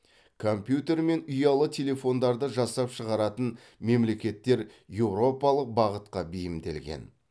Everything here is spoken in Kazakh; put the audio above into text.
компьютер мен ұялы телефондарды жасап шығаратын мемлекеттер еуропалық бағытқа бейімделген